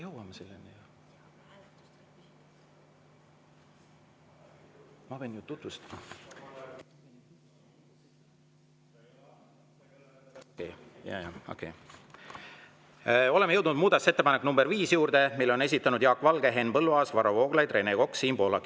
Oleme jõudnud muudatusettepaneku nr 5 juurde, mille on esitanud Jaak Valge, Henn Põlluaas, Varro Vooglaid, Rene Kokk ja Siim Pohlak.